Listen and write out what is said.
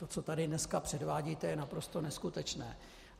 To, co tady dneska předvádíte, je naprosto neskutečné.